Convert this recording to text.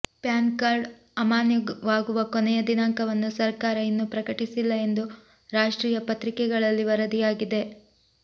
PAN card ಅಮಾನ್ಯವಾಗುವ ಕೊನೆಯ ದಿನಾಂಕವನ್ನು ಸರ್ಕಾರ ಇನ್ನೂ ಪ್ರಕಟಿಸಿಲ್ಲ ಎಂದು ರಾಷ್ಟ್ರೀಯ ಪತ್ರಿಕೆಗಳಲ್ಲಿ ವರದಿಯಾಗಿದೆ